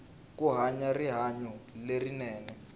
ku hanya rihanyu lerinene